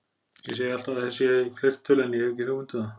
Ég segi alltaf að þeir séu í fleirtölu en ég hef ekki hugmynd um það.